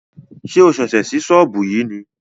Ṣé o ṣẹ̀ṣẹ̀ sí sọ́ọ̀bù yìí ni?